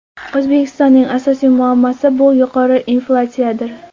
O‘zbekistonning asosiy muammosi bu yuqori inflyatsiyadir.